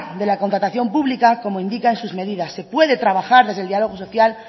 de la contratación pública como indica en sus medidas se puede trabajar desde el diálogo social